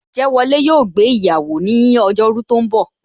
Ojewole yo gbé iyawo ni ojo ru tó ń bò